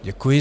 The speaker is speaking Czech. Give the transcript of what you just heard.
Děkuji.